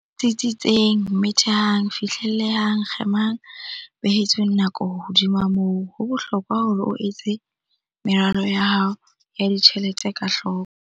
Tsitsitseng Methehang Fihlellehang Kgemang Behetsweng Nako Hodima moo, ho bohlokwa hore o etse meralo ya hao ya ditjhelete ka hloko.